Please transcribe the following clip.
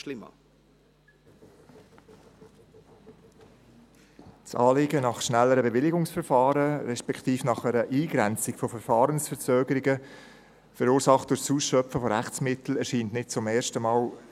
Die Forderung nach schnelleren Bewilligungsverfahren, respektive nach einer Eingrenzung von durch Rechtsmittel verursachten Verfahrensverzögerungen erscheint in diesem Rat nicht zum ersten Mal.